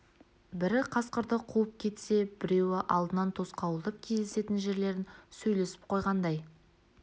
бірі қасқырды қуып кетсе біреуі алдынан тосқауылдап кездесетін жерлерін сөйлесіп қойғандай